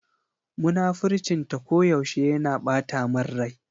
Munafurcin ta ko yaushe yana ɓata min rai.